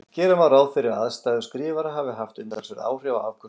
Gera má ráð fyrir að aðstæður skrifara hafi haft umtalsverð áhrif á afköst þeirra.